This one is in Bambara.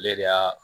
Ale de y'a